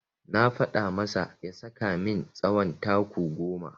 Na faɗa masa ya saka min tsawon taku goma.